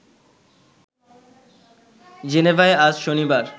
জেনেভায় আজ শনিবার